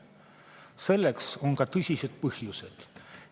Selleks on tõsised põhjused.